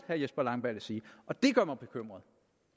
herre jesper langballe sige og det gør mig bekymret